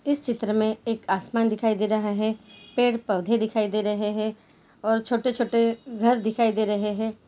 इस चित्र मैं एक आसमान दिखाई दे रहा है। पेड़ पौधे दिखाई दे रहे हैं। और छोटे छोटे घर दिखाई दे रहे हैं।